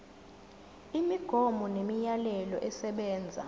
imigomo nemiyalelo esebenza